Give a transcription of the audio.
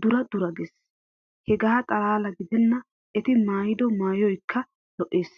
duration duration gees. Hegaa xalaala gidenna eti maayido maayoykka lo"ees.